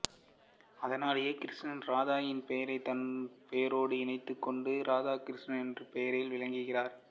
அதனாலேயே கிருஷ்ணர் ராதையின் பெயரைத் தன் பெயரோடு இணைத்துக் கொண்டு இராதாகிருஷ்ணன் என்ற பெயரில் விளங்குகிறார்